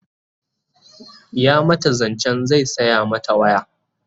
ya mata zancen zai saya mata waya